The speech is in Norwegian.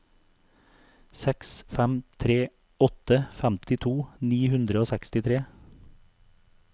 seks fem tre åtte femtito ni hundre og sekstitre